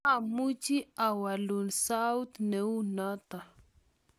mamuchi awolu saut ne u noto